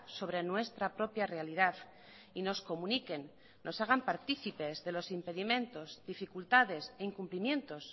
sobre nuestra propia realidad y nos comuniquen nos hagan partícipes de los impedimentos dificultades e incumplimientos